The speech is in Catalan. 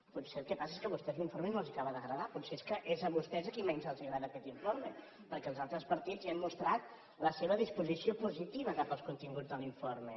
potser el que passa és que a vostès l’informe no els acaba d’agradar potser és que és a vostès a qui menys els agrada aquest informe perquè els altres partits ja han mostrat la seva disposició positiva cap als continguts de l’informe